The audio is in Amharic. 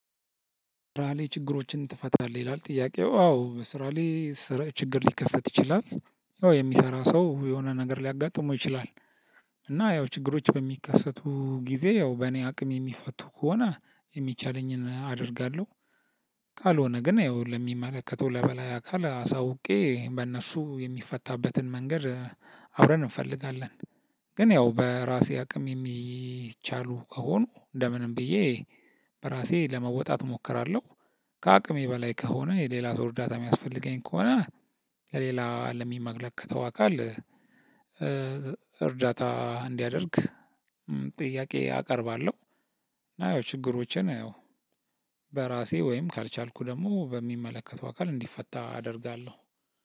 ስራ ላይ ችግሮችን ትፈታለህ ይላል? ጥያቄው አዎ ስራ ላይ ችግር ሊከሰት ይችላል። ያው የሚሰራ ሰው የሆነ ነገር ሊያጋጥመው ይችላል። እና ያው ችግሮች በሚከሰቱ ጊዜ ያው በእኔ አቅም የሚፈቱ ከሆነ የሚቻለኝን አደርጋለሁ። ካልሆነ ግን ያው ለሚመለከተው ለበላይ አካል አሳውቄ በእነሱ የሚፈታበትን መንገድ አብረን እንፈልጋለን። ግን ያው በራሴ አቅም የሚቻሉ ከሆኑ ለምንም ብዬ በራሴ ለመወጣት እሞክራለሁ። ከአቅሜ በላይ ከሆነ የሌላ ሰው እርዳታ የሚያስፈልገኝ ከሆነ። ለሌላ ለሚመለከተው አካል እርዳታ እንዲያደርግ ጥያቄ አቀርባለሁ። አዎ ችግሮችን ያው በራሴ ወይም ካልቻልኩ ደግሞ በሚመለከተው አካል እንዲፈታ አደርጋለሁ።